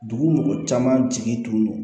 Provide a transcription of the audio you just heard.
Dugu mɔgɔ caman jigi don